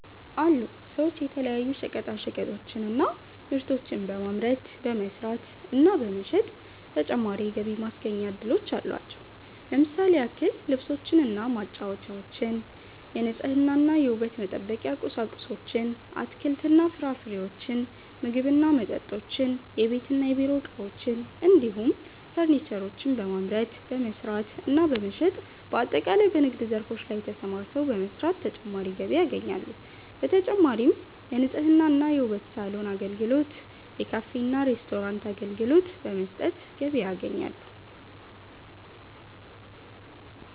አሉ ሰዎች የተለያዩ ሸቀጣሸቀጦችን እና ምርቶችን በማምረት፣ በመስራት እና በመሸጥ ተጨማሪ የገቢ ማስገኛ እድሎች አሏቸው። ለምሳሌ ያክል ልብሶችን እና ጫማወችን፣ የንጽህና እና የውበት መጠበቂያ ቁሳቁሶችን፣ አትክልት እና ፍራፍሬዎችን፣ ምግብ እና መጠጦችን፣ የቤት እና የቢሮ እቃዎችን እንዲሁም ፈርኒቸሮችን በማምረት፣ በመስራት እና በመሸጥ በአጠቃላይ በንግድ ዘርፎች ላይ ተሰማርተው በመስራት ተጨማሪ ገቢ ያገኛሉ። በተጨማሪም የንጽህና እና የውበት ሳሎን አገልግሎት፣ የካፌ እና ሬስቶራንት አገልግሎት በመስጠት ገቢ ያገኛሉ።